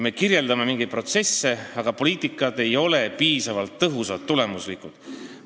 Me kirjeldame mingeid protsesse, aga poliitikad ei ole piisavalt tõhusad ega tulemuslikud.